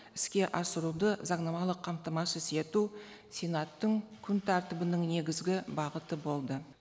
іске асыруды заңнамалық қамтамасыз ету сенаттың күн тәртібінің негізгі бағыты болды